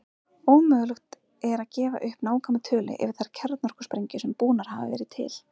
Ómögulegt er að gefa upp nákvæma tölu yfir þær kjarnorkusprengjur sem búnar hafa verið til.